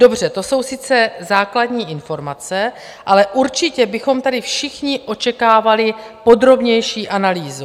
- Dobře, to jsou sice základní informace, ale určitě bychom tady všichni očekávali podrobnější analýzu.